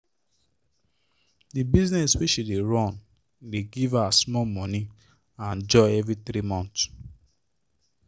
the business wey she dey run dey give her small money and joy every three months